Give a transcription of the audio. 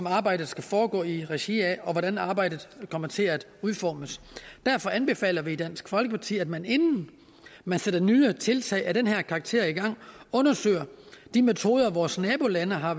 arbejdet skal foregå i regi af og hvordan arbejdet kommer til at udformes derfor anbefaler vi i dansk folkeparti at man inden man sætter nye tiltag af den her karakter i gang undersøger de metoder vores nabolande har